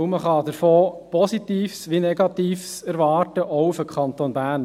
Man kann davon sowohl Positives als auch Negatives erwarten, auch für den Kanton Bern.